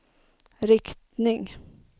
riktning